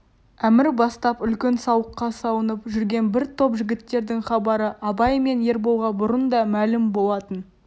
әмір бастап үлкен сауыққа салынып жүрген бір топ жігіттердің хабары абай мен ерболға бұрын да мәлім болатын